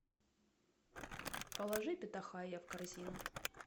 положи питахайя в корзину